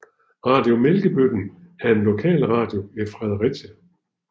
Radio Mælkebøtten er en lokalradio i Fredericia